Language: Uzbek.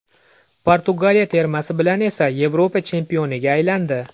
Portugaliya termasi bilan esa Yevropa chempioniga aylandi .